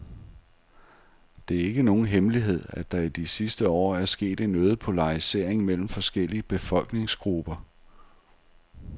Det er ikke nogen hemmelighed, at der i de sidste år er sket en øget polarisering mellem forskellige befolkningsgrupper.